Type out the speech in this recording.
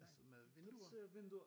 Altså med vinduer?